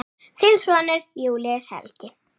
Þinn sonur, Júlíus Helgi.